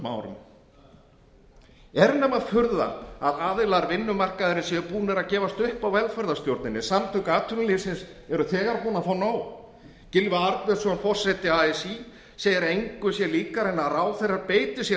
árum er nema furða að aðilar vinnumarkaðarins séu búnir að gefast upp á velferðarstjórninni samtök atvinnulífsins eru þegar búin að fá nóg gylfi arnbjörnsson forseti así segir að engu sé líkara en að ráðherrar beiti sér